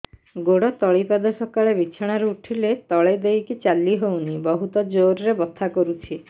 ଗୋଡ ତଳି ପାଦ ସକାଳେ ବିଛଣା ରୁ ଉଠିଲେ ତଳେ ଦେଇକି ଚାଲିହଉନି ବହୁତ ଜୋର ରେ ବଥା କରୁଛି